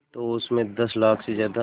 तो उस में दस लाख से ज़्यादा